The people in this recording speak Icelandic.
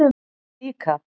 Við líka